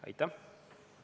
Aitäh!